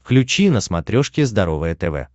включи на смотрешке здоровое тв